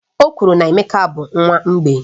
Okwuru na Emeka bụ nwa mgbei